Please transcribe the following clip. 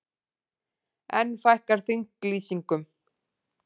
Enn fækkar þinglýsingum